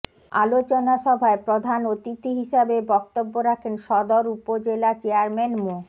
আলোচনা সভায় প্রধান অতিথি হিসেবে বক্তব্য রাখেন সদর উপজেলা চেয়ারম্যান মো